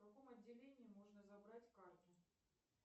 в каком отделении можно забрать карту